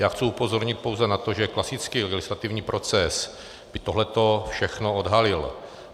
Já chci upozornit pouze na to, že klasický legislativní proces by tohleto všechno odhalil.